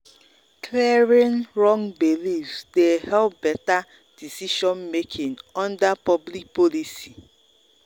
clearing wrong beliefs dey help better decision-making under public policy.